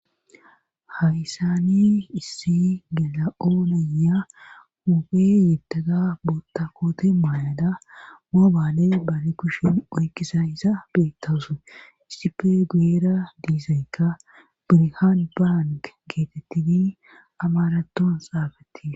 Haysani issi gela7ooneya huuphe yetaga boota koote maayada moobaane baani kushen oykkisa isa beettawusu issippe guyera diizaykka birhan bang geetettidi amaraton saafatti